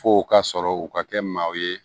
F'o ka sɔrɔ u ka kɛ maaw ye